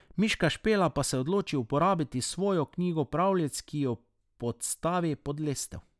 Miška Špela pa se odloči uporabiti svojo knjigo pravljic, ki jo podstavi pod lestev.